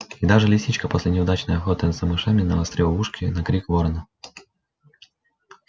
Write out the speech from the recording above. и даже лисичка после неудачной охоты за мышами навострила ушки на крик ворона